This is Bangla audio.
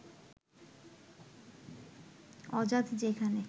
অজাত যেখানে